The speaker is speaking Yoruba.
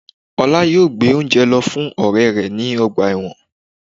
Oláitan yóò gbé óúnjẹ lọ fún ọrẹ rẹ ní ọgbà ẹ̀wọ̀n